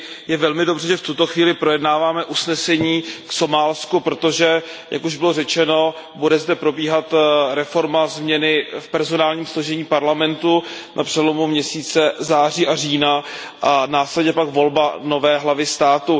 Je velmi dobře, že v tuto chvíli projednáváme usnesení o Somálsku, protože jak už bylo řečeno bude zde probíhat reforma v personálním složení parlamentu na přelomu měsíce září a října a následně pak volba nové hlavy státu.